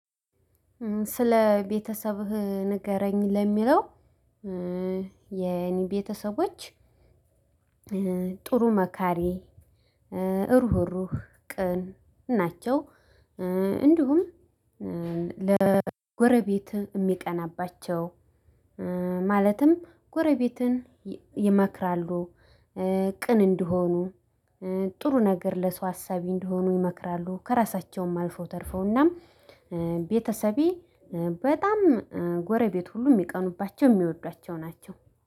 ስለ ቤተሰብህ ንገረኝ? ለሚለው የኔ ቤተሰቦች ጥሩ፣ መካሪ፣ ሩህሩህ፣ ቅን ናቸው። እንዲሁም ለጎረቤት የሚቀናባቸው ማለትም ጎረቤትን ይመክራሉ ቅን እንዲሆኑ ጥሩ ነገር ለሰው አሳቢ እንዲሆኑ ይመክራሉ ከራሳቸውም አልፈው ተርፈውና ቤተሰቤ በጣም ጎረቤት ሁሉ የሚቀኑባቸው የሚወዷቸው ናቸው